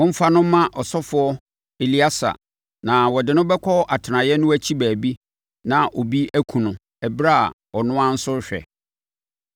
Momfa no mma ɔsɔfoɔ Eleasa na ɔde no bɛkɔ atenaeɛ no akyi baabi na obi akum no ɛberɛ a ɔno ara nso rehwɛ.